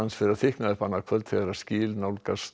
fer að þykkna upp annað kvöld þegar skil nálgast